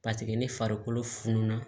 Paseke ni farikolo fununa